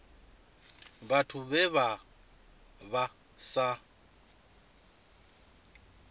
vhathu vhe vha vha sa